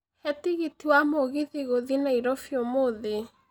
he tigiti wa mũgithi gũthiĩ nairobi ũmũthĩ